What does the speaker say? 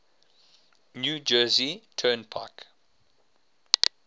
new jersey turnpike